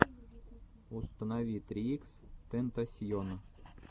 установи три икс тентасьон